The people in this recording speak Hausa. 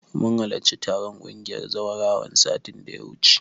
Mun halarci taron ƙungiyar zawarawan, satin da ya wuce.